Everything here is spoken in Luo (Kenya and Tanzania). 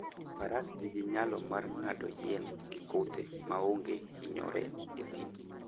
Faras nigi nyalo mar ng'ado yien gi kuthe maonge hinyore e thim.